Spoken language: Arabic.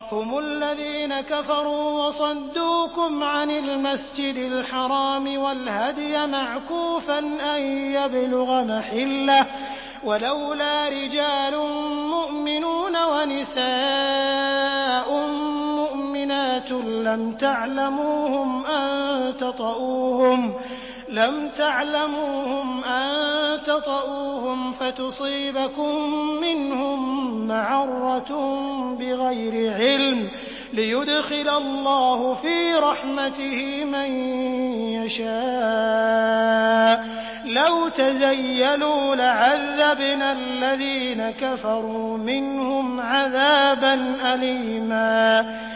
هُمُ الَّذِينَ كَفَرُوا وَصَدُّوكُمْ عَنِ الْمَسْجِدِ الْحَرَامِ وَالْهَدْيَ مَعْكُوفًا أَن يَبْلُغَ مَحِلَّهُ ۚ وَلَوْلَا رِجَالٌ مُّؤْمِنُونَ وَنِسَاءٌ مُّؤْمِنَاتٌ لَّمْ تَعْلَمُوهُمْ أَن تَطَئُوهُمْ فَتُصِيبَكُم مِّنْهُم مَّعَرَّةٌ بِغَيْرِ عِلْمٍ ۖ لِّيُدْخِلَ اللَّهُ فِي رَحْمَتِهِ مَن يَشَاءُ ۚ لَوْ تَزَيَّلُوا لَعَذَّبْنَا الَّذِينَ كَفَرُوا مِنْهُمْ عَذَابًا أَلِيمًا